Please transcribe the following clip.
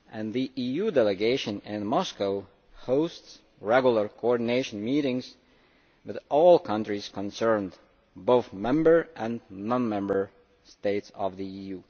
The EU delegation in Moscow hosts regular coordination meetings with all countries concerned, both Member and non Member States of the EU.